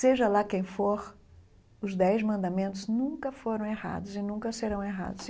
Seja lá quem for, os Dez Mandamentos nunca foram errados e nunca serão errados.